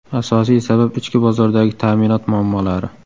Asosiy sabab ichki bozordagi ta’minot muammolari.